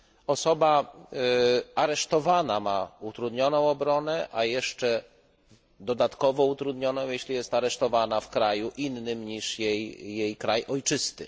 Osoba aresztowana ma utrudnioną obronę, a jeszcze dodatkowo utrudnioną, jeśli jest aresztowana w kraju innym niż jej kraj ojczysty.